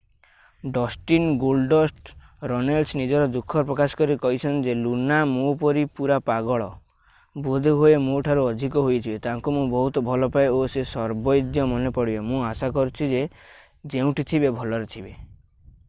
Dustin Goldust Runnels ନିଜର ଦୁଃଖ ପ୍ରକାଶ କରି କହିଛନ୍ତି ଯେ ଲୁନା ମୋ ପରି ପୁରା ପାଗଳ ... ବୋଧେ ହୁଏ ମୋ ଠାରୁ ଅଧିକ ହୋଇଥିବେ। ତାଙ୍କୁ ମୁଁ ବହୁତ ଭଲ ପାଏ ଓ ସେ ସର୍ବଦୈ ମନେ ପଡ଼ିବେ ...ମୁଁ ଆଶା କରୁଛି ସେ ଯେଉଁଠି ଥିବେ ଭଲରେ ଥିବେ।